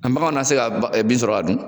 An baganw na se ka bin sɔrɔ k'a dun